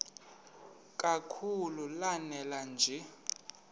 kakhulu lanela nje